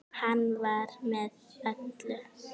Hann var með í öllu.